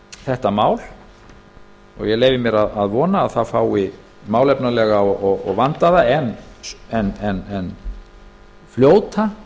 þetta mál ég leyfi mér að vona að það fái málefnalega og vandaða en fljóta skoðun hér í þinginu